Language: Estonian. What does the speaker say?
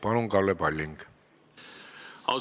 Palun, Kalle Palling!